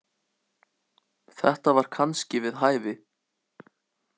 Þetta var kannski við hæfi.